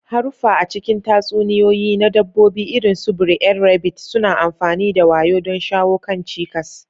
Haruffa a cikin tatsuniyoyi na Dabbobi, irin su Br'er Rabbit, suna amfani da wayo don shawo kan cikas.